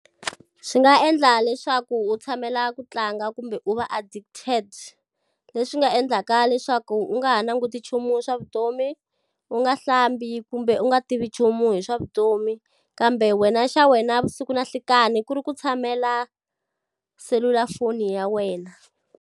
Swi nga endla leswaku u tshamela ku tlanga kumbe u va addicted. Leswi nga endlaka leswaku u nga ha languti nchumu swa vutomi, u nga hlambi kumbe u nga tivi nchumu hi swa vutomi. Kambe wena xa wena vusiku na nhlikani ku ri ku tshamela selulafoni ya wena.